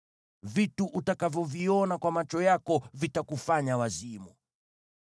Vitu utakavyoviona kwa macho yako vitakufanya wazimu.